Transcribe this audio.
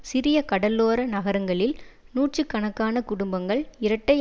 சிறிய கடலோர நகரங்களில் நூற்று கணக்கான குடும்பங்கள் இரட்டை